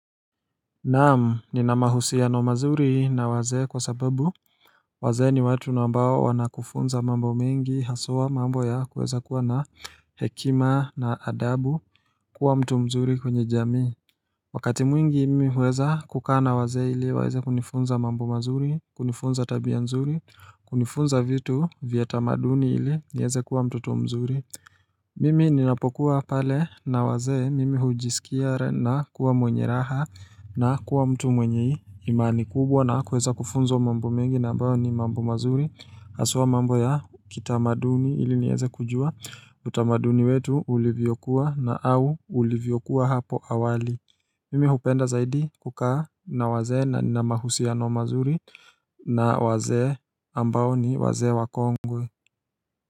Naam nina mahusiano mazuri na wazee kwa sababu wazee ni watu na ambao wanakufunza mambo mengi haswa mambo ya kuweza kuwa na hekima na adabu kuwa mtu mzuri kwenye jamii Wakati mwingi mimi huweza kukaa na wazee ili waeze kunifunza mambo mazuri kunifunza tabia nzuri kunifunza vitu vya tamaduni ili nieze kuwa mtoto mzuri Mimi ninapokuwa pale na wazee mimi hujisikia nakuwa mwenye raha na kuwa mtu mwenye imani kubwa na kuweza kufunzwa mambo mengi na ambayo ni mambo mazuri Aswa mambo ya kitamaduni ili nieze kujua utamaduni wetu ulivyokuwa na au ulivyokuwa hapo awali Mimi hupenda zaidi kukaa na wazee na nina mahusiano mazuri na wazee ambao ni wazee wakongwe.